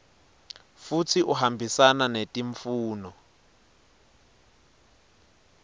futsi uhambisana netimfuno